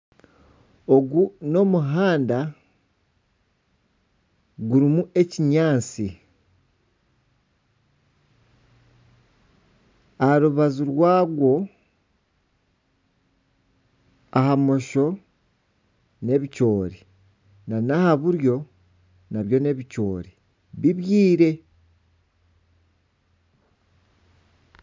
Ogu n'omuhanda gurimu ekinyaatsi. Aha rubaju rwagwo ahari bumosho n'ebicori nana ahari buryo nabyo n'ebicori bibyire.